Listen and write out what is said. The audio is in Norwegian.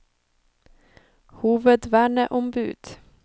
hovedverneombud